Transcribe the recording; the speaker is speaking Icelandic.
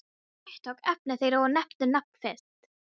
Tiltók efni þeirra og nefndi nafn þitt.